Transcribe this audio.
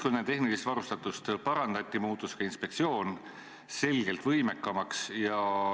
Kui nende tehnilist varustatust parandati, muutus ka inspektsioon selgelt võimekamaks.